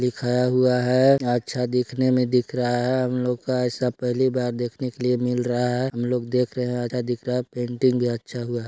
--दिखाया हुआ है अच्छा दिखने में दिख रहा है हम लोग का ऐसा पहली बार देखने के लिए मिल रहा है हम लोग देख रहे हैं आधा दिख रहा है पेंटिंग भी अच्छा हुआ--